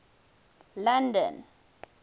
london